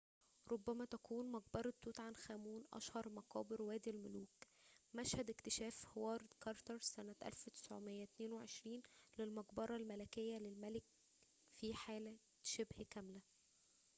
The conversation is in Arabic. مقبرة توت عنخ آمون kv62. ربما تكون أشهر مقابر وادي الملوك، مشهد اكتشاف هوارد كارتر سنة 1922 للمقبرة الملكية للملك في حالة شبه كاملة